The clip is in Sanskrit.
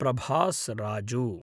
प्रभास् राजु